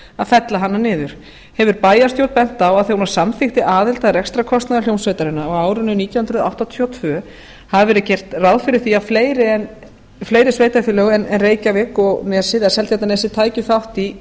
að fella hana niður hefur bæjarstjórn bent á að þegar hún samþykkti aðild að rekstrarkostnaði hljómsveitarinnar á árinu nítján hundruð áttatíu og tvö hafi verið gert ráð fyrir því að fleiri sveitarfélög en reykjavík og seltjarnarnes tækju þátt í